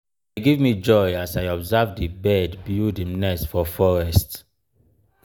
e give me joy as i observe di bird build im nest for forest.